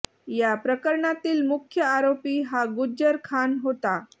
या प्रकरणातील मुख्य आरोपी हा गुज्जर खान होता